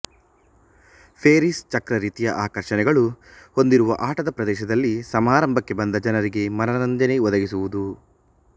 Ferris ಚಕ್ರ ರೀತಿಯ ಆಕರ್ಷಣೆಗಳು ಹೊಂದಿರುವ ಆಟದ ಪ್ರದೇಶದಲ್ಲಿ ಸಮಾರಂಭಕ್ಕೆ ಬಂದ ಜನರಿಗೆ ಮನರಂಜನೆ ಒದಗಿಸುವುದು